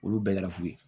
Olu bɛɛ kɛra fu ye